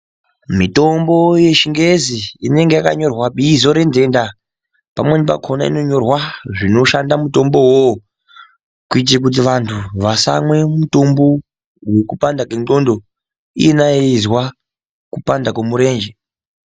Mitombo yechingezi inenge yakanyorwa bizo renhenda pamweni pakona yonyorwa zvinoshanda mutombo wo kuita kuti vanhu vasamwa mutombo wekupanda kwendxondo iyena yeizwa kupanda kwemurenje.